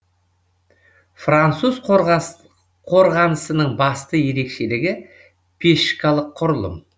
француз қорғанысының басты ерекшелігі пешкалық құрылым